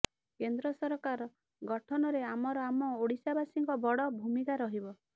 କେନ୍ଦ୍ର ସରକାର ଗଠନରେ ଆମର ଆମ ଓଡ଼ିଶାବାସୀଙ୍କ ବଡ଼ ଭୂମିକା ରହିବ